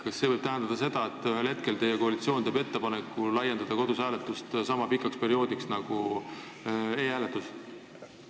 Kas see võib tähendada, et ühel hetkel teeb koalitsioon ettepaneku pikendada kodus hääletamise aega sama pikaks perioodiks, nagu on e-hääletusel?